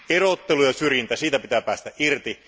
Erottelu ja syrjintä, siitä pitää päästä irti.